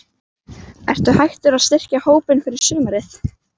Ertu hættur að styrkja hópinn fyrir sumarið?